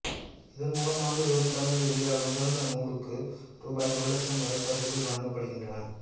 இதன் மூலம் ஆண்டுதோறும் தமிழில் வெளியாகும் சிறந்த நூலுக்கு ரூபாய் ஒரு இலட்சம் வரை பரிசுகள் வழங்கப்படுகின்றன